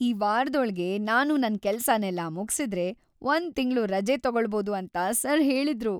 ಈ ವಾರದೊಳ್ಗೆ ನಾನು ನನ್ ಕೆಲ್ಸನೆಲ್ಲ ಮುಗ್ಸಿದ್ರೆ ಒಂದ್ ತಿಂಗ್ಳು ರಜೆ ತಗೋಳ್ಬೋದು ಅಂತ ಸರ್ ಹೇಳಿದ್ರು!